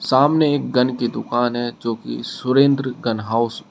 सामने एक गन की दुकान है जो कि सुरेंद्र गन हाउस --